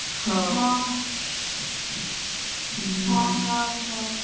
ହଉ ହୁଁ